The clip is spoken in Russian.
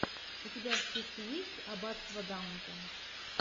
у тебя в списке есть аббатство даунтон